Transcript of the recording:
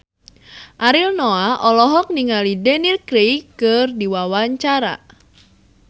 Ariel Noah olohok ningali Daniel Craig keur diwawancara